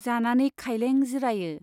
जानानै खायलें जिरायो।